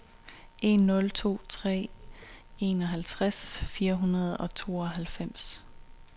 en nul to tre enoghalvtreds fire hundrede og tooghalvfems